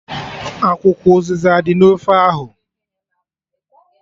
Akwụkwọ ụzịza adị na ofe ahụ?